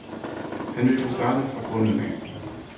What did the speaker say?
Han ville starte fra bunden af.